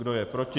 Kdo je proti?